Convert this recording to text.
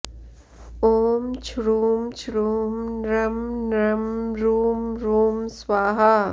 ॐ छ्रुं छ्रुं नृं नृं रुं रुं स्वाहा